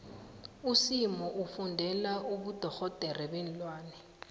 usimo ufundela ubudorhodere beenlwane